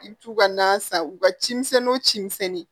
I bɛ t'u ka na san u ka cimisɛnninw ci misɛnninw